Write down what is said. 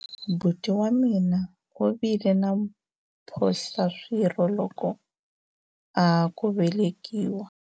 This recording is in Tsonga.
buti wa mina u vile na mphohlaswirho loko a ha ku velekiwa